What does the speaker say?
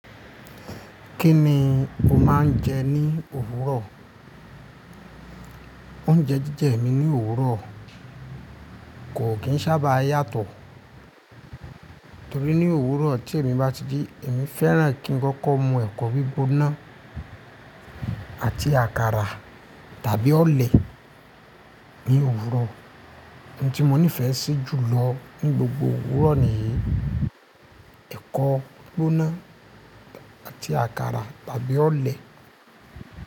Kí ni o máa ń jẹ ní òwúrọ̀? Oúnjẹ jíjẹ mi ní òwúrọ̀ kò kí ń sábà yàtọ̀. Torí ní òwúrọ̀ tí èmi bá ti ji, èmi fẹ́ràn kí n kọ́kọ́ mu ẹ̀kọ́ gbígbóná àti àkàrà tàbí ọ̀olẹ̀ ní òwúrọ̀. Ohun tí mo nífẹ̀ẹ́ sí jù lọ ní gbogbo òwúrọ̀ niyi: ẹ̀kọ́ gbígbóná àti àkàrà tàbí oọ̀lẹ̀.